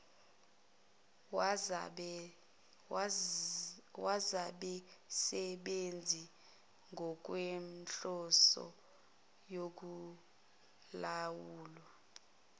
wezabasebenzi ngokwenhloso yokulawulwa